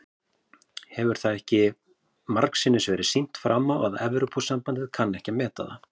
Hefur það ekki margsinnis verið sýnt fram á að Evrópusambandið kann ekki að meta það?